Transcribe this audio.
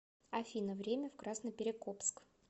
афина время в красноперекопск